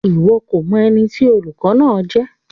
Iwọ ko mọ ẹni tí olùkọ náà jẹ?